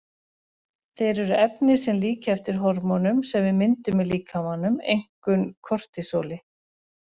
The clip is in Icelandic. Þeir eru efni sem líkja eftir hormónum sem við myndum í líkamanum, einkum kortisóli.